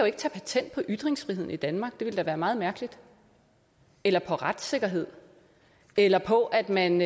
ikke tage patent på ytringsfriheden i danmark det ville da være meget mærkeligt eller på retssikkerhed eller på at man